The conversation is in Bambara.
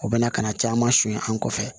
U bɛna kana caman sonyɛ an kɔfɛ